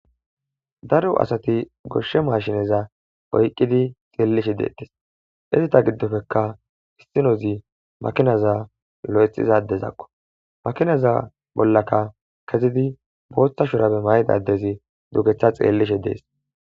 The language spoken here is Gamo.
Daro asati goshe mashineza oykidi xeelishe detesi, izeta gidoppeka issinozi makinaza lo'ethiza adezako, makinaza bollaka kezidi bootha shurabe mayida adezi dugetha xeelishe Desi.